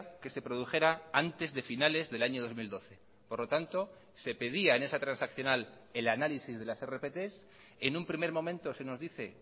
que se produjera antes de finales del año dos mil doce por lo tanto se pedía en esa transaccional el análisis de las rpt en un primer momento se nos dice